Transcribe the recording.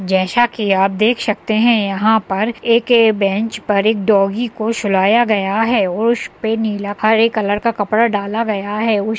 जैसा कि आप देख सकते हैं। यहाँं पर एक बैंच पर एक डॉगी को सुलाया गया है। उस पर नीला हरे कलर का कपड़ा डाला गया है। उस --